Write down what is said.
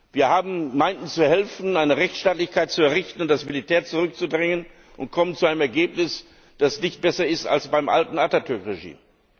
Wir meinten zu helfen, eine Rechtsstaatlichkeit zu errichten und das Militär zurückzudrängen, und kommen zu einem Ergebnis, das nicht mehr so ist wie beim alten Atatürk Regime.